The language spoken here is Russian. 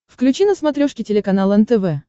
включи на смотрешке телеканал нтв